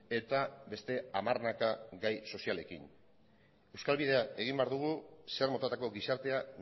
eta beste hamarnaka gai sozialekin euskal bidea egin behar dugu zer motatako gizartea